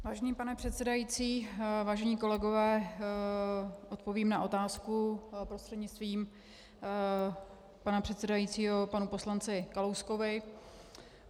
Vážený pane předsedající, vážení kolegové, odpovím na otázku prostřednictvím pana předsedajícího panu poslanci Kalouskovi.